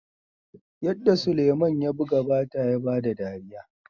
yarda sulaiman ya buga bata ya bada dariya